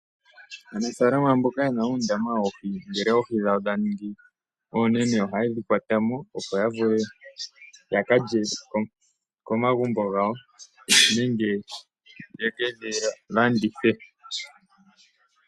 Aanafalama mboka yena uundama woohi ngele oohi dhawo dha ningi oonene oha yedhi kwatamo opo ya vule ya kalye komagumbo gawo nenge yeke dhi landithe.